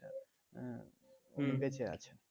আহ বেচে আছে